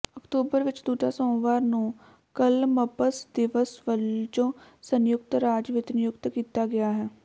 October ਵਿਚ ਦੂਜਾ ਸੋਮਵਾਰ ਨੂੰ ਕਲਮਬਸ ਦਿਵਸ ਵਜੋਂ ਸੰਯੁਕਤ ਰਾਜ ਵਿਚ ਨਿਯੁਕਤ ਕੀਤਾ ਗਿਆ ਹੈ